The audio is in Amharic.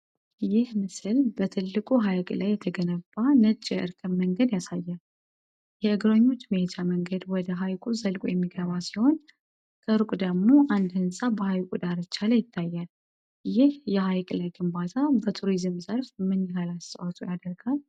ይህ ምስል በትልቁ ሐይቅ ላይ የተገነባ ነጭ የእርከን መንገድ ያሳያል። የእግረኞች መሄጃ መንገድ ወደ ሐይቁ ዘልቆ የሚገባ ሲሆን፣ ከሩቅ ደግሞ አንድ ሕንፃ በሐይቁ ዳርቻ ላይ ይታያል። ይህ የሐይቅ ላይ ግንባታ በቱሪዝም ዘርፍ ምን ያህል አስተዋጽኦ ያደርጋል?